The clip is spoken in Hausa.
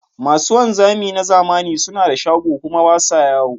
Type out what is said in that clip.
Masu wanzami na zamani suna da shago kuma ba sa yawo.